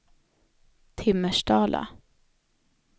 Timmersdala